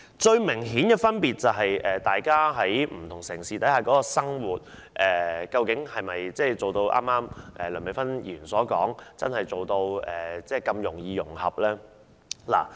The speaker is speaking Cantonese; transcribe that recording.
最明顯的是，不同城市的生活模式是否一如梁美芬議員剛才所說般真的如此容易融合呢？